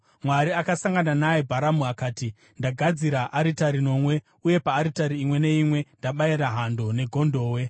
Mwari akasangana naye, Bharamu akati, “Ndagadzira aritari nomwe uye paaritari imwe neimwe ndabayira hando negondobwe.”